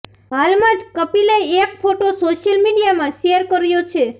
હાલમાં જ કપિલે એક ફોટો સોશિયલ મીડિયામાં શેર કર્યા છે